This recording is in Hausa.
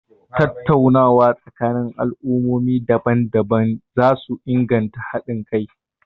Tattaunawa tsakanin al'ummomi daban-daban za su inganta hadin kai.a